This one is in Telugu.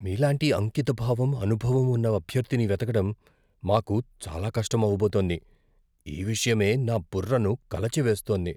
మీలాంటి అంకితభావం, అనుభవం ఉన్న అభ్యర్థిని వెతకడం మాకు చాలా కష్టం అవబోతోంది. ఈ విషయమే నా బుర్రను కలచివేస్తోంది.